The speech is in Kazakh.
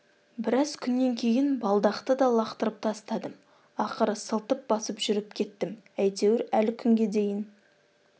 біраз күннен кейін балдақты да лақтырып тастадым ақыры сылтып басып жүріп кеттім әйтеуір әлі күнге дейін